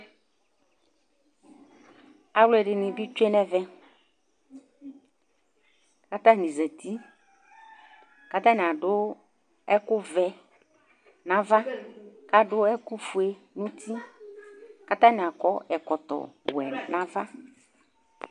Alʊ ɛɖiŋɩ tsoé ŋɛʋɛ, ƙataŋɩ zatɩ, ƙata ŋɩ aɖʊ ɛƙʊ ʋɛ ŋava, ƙaɖʊ ɛƙʊ ƒoé ŋʊtɩ Ƙataŋɩ aƙɔ ɛƙʊ wɛ ŋaʋa